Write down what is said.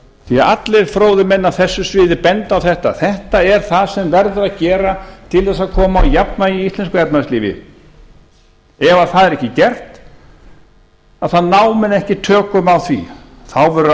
því allir fróðir menn á þessu sviði benda á þetta þetta er það sem verður að gera til þess að koma á jafnvægi í íslensku efnahagslífi ef það er ekki gert þá ná menn ekki tökum á því þá verður